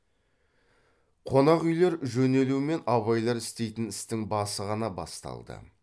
қонақ үйлер жөнелумен абайлар істейтін істің басы ғана басталды